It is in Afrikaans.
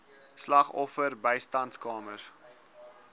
slagoffer bystandskamers